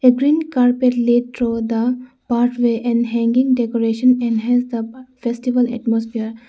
A green carpet lead through the pathway and hanging decoration enhance the festival atmosphere.